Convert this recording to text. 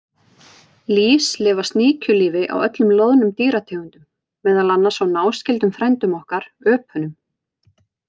Lýs lifa sníkjulífi á öllum loðnum dýrategundum, meðal annars á náskyldum frændum okkar, öpunum.